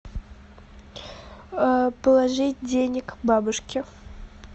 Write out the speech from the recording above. положить денег бабушке